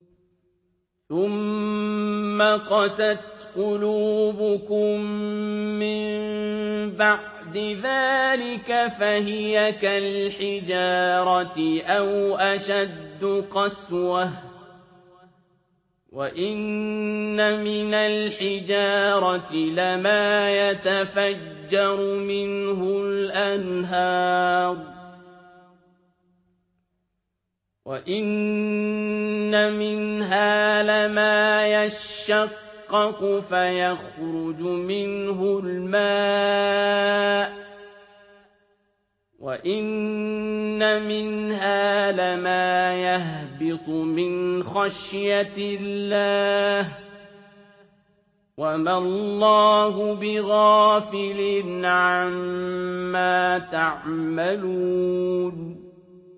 ثُمَّ قَسَتْ قُلُوبُكُم مِّن بَعْدِ ذَٰلِكَ فَهِيَ كَالْحِجَارَةِ أَوْ أَشَدُّ قَسْوَةً ۚ وَإِنَّ مِنَ الْحِجَارَةِ لَمَا يَتَفَجَّرُ مِنْهُ الْأَنْهَارُ ۚ وَإِنَّ مِنْهَا لَمَا يَشَّقَّقُ فَيَخْرُجُ مِنْهُ الْمَاءُ ۚ وَإِنَّ مِنْهَا لَمَا يَهْبِطُ مِنْ خَشْيَةِ اللَّهِ ۗ وَمَا اللَّهُ بِغَافِلٍ عَمَّا تَعْمَلُونَ